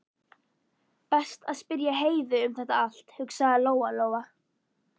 Best að spyrja Heiðu um þetta allt, hugsaði Lóa Lóa.